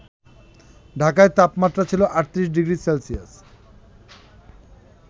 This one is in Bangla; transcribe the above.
ঢাকায় তাপমাত্রা ছিল ৩৮ ডিগ্রি সেলসিয়াস